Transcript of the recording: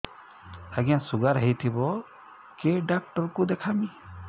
ଆଜ୍ଞା ଶୁଗାର ହେଇଥିବ କେ ଡାକ୍ତର କୁ ଦେଖାମି